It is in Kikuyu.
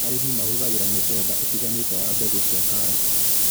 Arĩmi mahũthagĩra mĩthemba ĩtiganĩte ya mbegũ cia karati